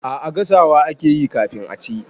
A'a gasawa akeyi kafin a ci.